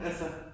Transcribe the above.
Altså